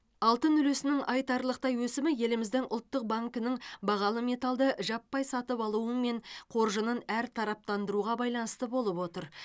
алтын үлесінің айтарлықтай өсімі еліміздің ұлттық банкінің бағалы металлды жаппай сатып алуы мен қоржынын әртараптандыруға байланысты болып отыр